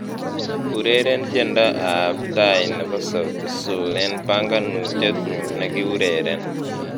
Ureren tiendo ab tai nebo Sauti Sol eng banganutiet nyu nekiureren